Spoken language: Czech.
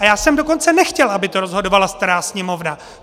A já jsem dokonce nechtěl, aby to rozhodovala stará Sněmovna.